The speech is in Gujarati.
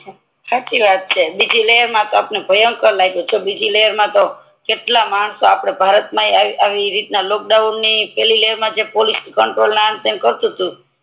સાચી વાત છે બીજી લહેર માતો આપડને ભયંકર લાગ્યું બીજી લહેર માતો કેટલાય માણસો આપડે ભારત મા આવી રીતે ના લોકડાઉન ની પહેલી લહેર મા પોલીસ કંટ્રોલ કારતૂતૂ